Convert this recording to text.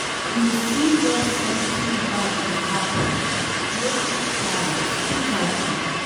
If you see where something bad dey happen, no keep quiet speak out oo